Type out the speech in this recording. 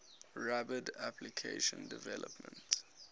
rapid application development